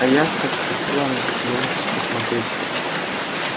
а я так хотела на этот линкус посмотреть